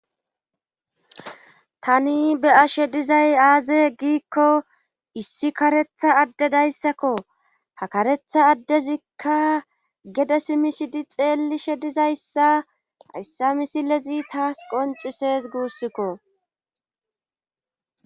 tani be7ashe dizay aaze giikko issi karetha addedayssakko ha karetha addezikka gedes misidi xeelli shedizayssa hayssa misilezi taas qoncises guussikko